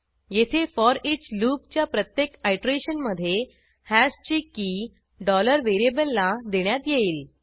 येथे for each loop च्या प्रत्येक आयटरेशनमधे हॅशची की variable ला देण्यात येईल